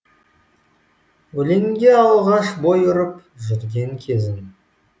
өлеңге алғаш бой ұрып жүрген кезім